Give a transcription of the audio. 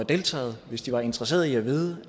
deltaget hvis de var interesseret i at vide